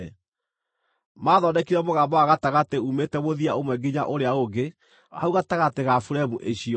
Maathondekire mũgamba wa gatagatĩ uumĩte mũthia ũmwe nginya ũrĩa ũngĩ hau gatagatĩ ga buremu icio.